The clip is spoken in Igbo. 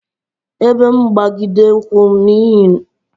Ebe mgbagide ụkwụ n'ihe ọ bụla gbasara ikpe n'ụlọikpe bụ iwundu